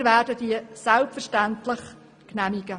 Wir werden diese selbstverständlich genehmigen.